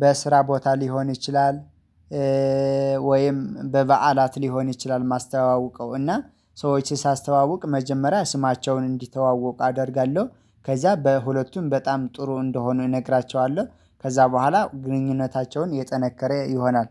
በስራ ቦታ ሊሆን ይችላል። ወይም በበዓላት ሊሆን ይችላል ማስተዋወቀው እና ሰዎች ሳስተዋውቅ መጀመሪያ ስማቸውን እንዲተዋወቅ አደርጋለሁ። ከዛ በሁለቱም በጣም ጥሩ እንደሆነ እነግራቸዋለሁ ከዛ በኋላ ግንኙነታቸውን የጠነከረ ይሆናል